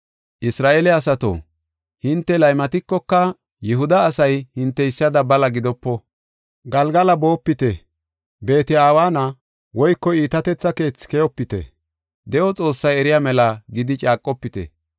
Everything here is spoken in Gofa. “Isra7eele asato, hinte laymatikoka, Yihuda asay hinteysada bala gidopo. Galgala boopite; Beet-Aweena (Iitatetha keethi) keyopite; ‘De7o Xoossay eriya mela’ gidi caaqofite.